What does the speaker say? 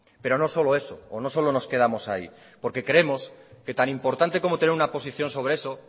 pero no solo eso o no solo nos quedamos ahí porque creemos que tan importante como tener una posición sobre eso